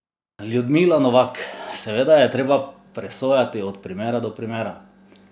Ljudmila Novak: "Seveda je treba presojati od primera do primera.